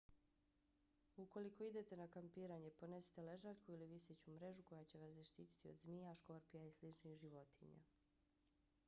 ukoliko idete na kampiranje ponesite ležaljku ili viseću mrežu koja će vas zaštiti od zmija škorpija i sličnih životinja